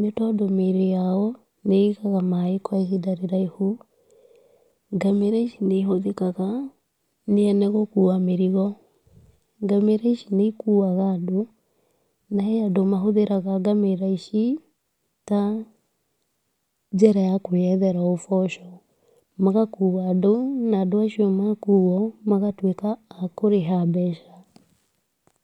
nĩ tondũ mĩĩrĩ yao nĩigaga maaĩ kwa ihinda rĩraihu, ngamĩra ici nĩcihũthĩkaga gũkua mĩrigo, ngamĩra ici nĩ ikuaga andũ, na he andũ mahũthĩraga ngamĩra ici, ta njĩra ya kwĩyethera ũboco, magakua andũ , na andũ acio makuo magatuĩka akũrĩha mbeca.